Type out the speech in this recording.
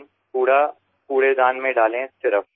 প্রথম ধাপ বর্জ্য পদার্থ আবর্জনা ফেলার পাত্রে ফেলুন